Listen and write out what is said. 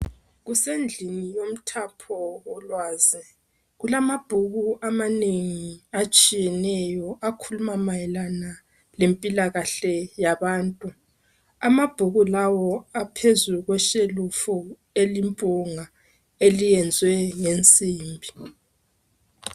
Kusendlini yomthapho wolwazi, kulamabhuku amanengi atshiyeneyo akhuluma mayelana lempilakahle yabantu. Amabhuku lawo aphezu kweshelufu elimpunga eliyenzwe ngensimbi.